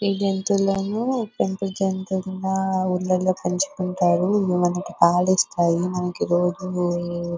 ఈ జంతువులేమో పెంపుడు జంతువులు ఊర్లల్లో పెంచుకుంటారు ఇవి మనకి పాలిస్తాయి మనకి రోజు --